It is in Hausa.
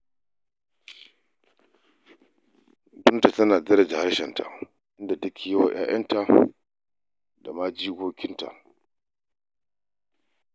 Binta tana daraja harshenta, inda take yi wa 'ya'yanta da ma jikokinta.